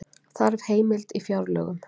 Þarf heimild í fjárlögum